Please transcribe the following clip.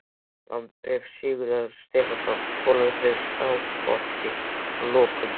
Landabréf Sigurðar Stefánssonar skólameistara í Skálholti, frá lokum